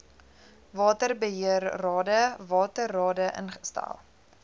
waterbeheerrade waterrade ingestel